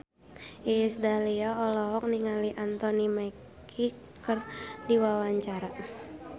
Iis Dahlia olohok ningali Anthony Mackie keur diwawancara